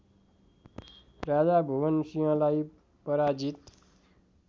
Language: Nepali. राजा भुवनसिंहलाई पराजित